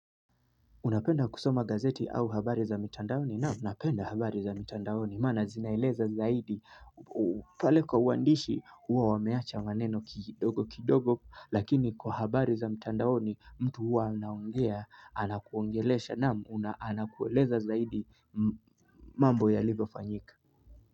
Unapenda kusoma gazeti au habari za mitandaoni? Naam napenda habari za mitandaoni maaana zinaeleza zaidi pale kwa uandishi huwa wameacha maneno kidogo kidogo lakini kwa habari za mitandaoni mtu huwa anaongea, anakuongelesha na anakueleza zaidi mambo yalivyofanyika.